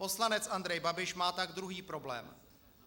Poslanec Andrej Babiš má tak druhý problém.